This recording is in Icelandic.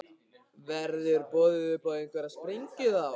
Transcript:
Verður boðið upp á einhverja sprengju þá?